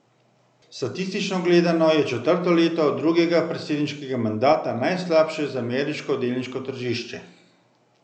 Statistično gledano je četrto leto drugega predsedniškega mandata najslabše za ameriško delniško tržišče.